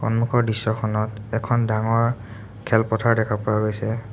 সন্মুখৰ দৃশ্যখনত এখন ডাঙৰ খেলপথাৰ দেখা পোৱা গৈছে।